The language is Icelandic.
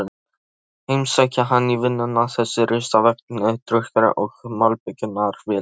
Heimsækja hann í vinnuna, þessir risavöxnu trukkar og malbikunarvélar.